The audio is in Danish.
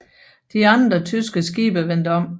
De andre tyske skibe vendte om